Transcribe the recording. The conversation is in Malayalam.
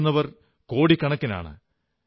കേൾക്കുന്നവർ കോടിക്കണക്കിനാണ്